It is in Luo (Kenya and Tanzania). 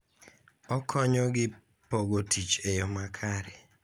Okonyo gi pogo tich e yo makare.